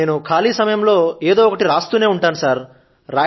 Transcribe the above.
sir నేను ఖాళీ సమయం లో ఏదో ఒకటి వ్రాస్తూ నే ఉంటాను సర్